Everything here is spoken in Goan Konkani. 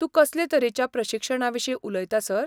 तूं कसले तरेच्या प्रशिक्षणाविशीं उलयता, सर?